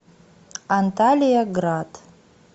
анталияград